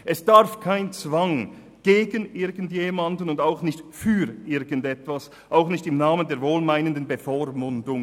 Es darf keinen Zwang für oder gegen irgendjemanden oder irgendetwas geben, auch nicht im Namen einer wohlmeinenden Bevormundung.